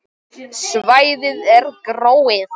Svæðið er gróið.